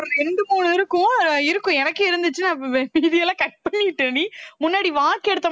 ஒரு ரெண்டு மூணு இருக்கும் இருக்கும் எனக்கே இருந்துச்சு cut பண்ணிட்டேன்டி முன்னாடி